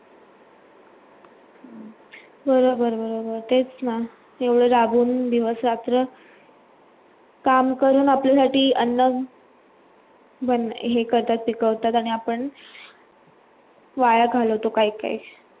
बरोबर बरोबर तेच ना येवड जागून दिवस रात्र काम करून आपल्या साठी अन्न हे करतात ते कावतात आणि आपण वाया घालवतो काही काही